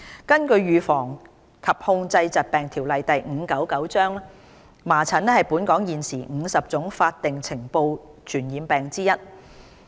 根據《預防及控制疾病條例》，麻疹是本港現時50種法定須呈報的傳染病之一。